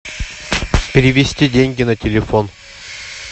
перевести деньги на телефон